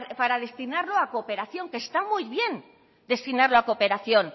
para destinarlo a cooperación que está muy bien destinarlo a cooperación